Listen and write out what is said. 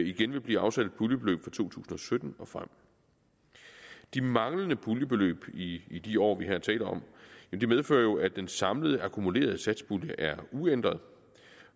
igen vil blive afsat et puljebeløb for to tusind og sytten og frem de manglende puljebeløb i i de år vi her taler om medfører jo at den samlede akkumulerede satspulje er uændret